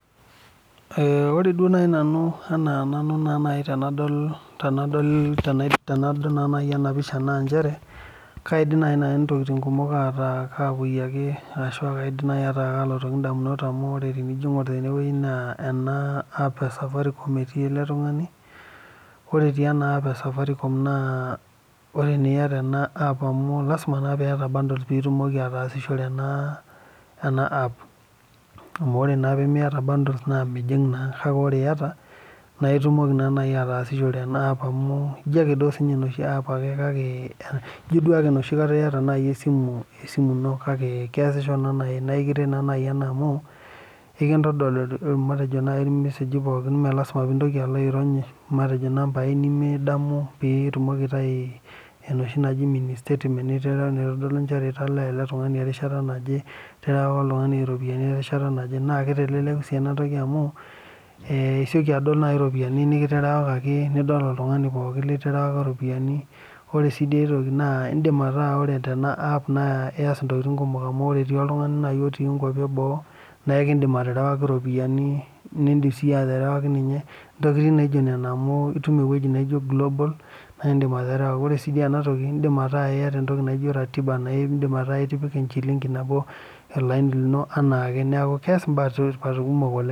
Ee ore duo nai nanu enaa nanu naa tenadol tenadol tena tenadol naa nai ena pisha naa inchere kaidim naa nai intokitin kumok ataa kaakui ake arashu akaidim nai ataa kaalotoki indamunot amu ore tenijo iing'or tene wueji naa ena app e safaricom etii ele tung'ani. Ore etii ena app e safaricom naa, ore naa iyata ena app amu lazima naa piiyata bundles piitumoki ataasishore ena ena app amu ore naa pee miyata bundles naa mijing' naa, kake ore naa iyata naa itumoki naa nai ataasishore ena app amu ijo ake siinye inoshi app ake kake ijo duo oshi enoshi kata iyata nai esimu esimu ino kake keasisho naa nai nae kiret naa nai ena amu kekintodol matejo nai irmeseji pookin mee lazima piintoki alo airony matejo inambai nemidamu pee itumoki aitayu enoshi naji mini statetement oshi taata naitodolu inchere italaa ele tung'ani erishata naje, ieterewaka oltung'ani iropiani erishata naje. Naake iteleleku sii ena siai amu ee isioki adol nai iropiani nekiterewakaki, nidol oltung'ani pookin literewaka iropiani. Ore sii dii ai toki naa iindim ataa ore tena app naa ias intokitin kumok amu ore etii nai oltung'ani nai otii inkuapi e boo nae kiindim aterewaki iropiani, niindim siiyie aterewaki ninye intokitin naijo nena amu itum ewoji naijo global naa iindim aterewa. Ore sii duo ena toki iindim ataa iyata entoki naijo ratiba naa iindim ataa itipika enchiling'i nabo olaini lino anaake, neeku kees imbaa e tipat kumok oleng'.